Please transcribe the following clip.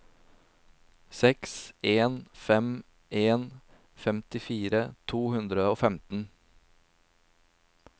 seks en fem en femtifire to hundre og femten